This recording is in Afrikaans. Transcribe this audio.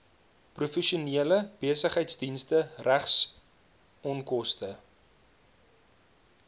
professionele besigheidsdienste regsonkoste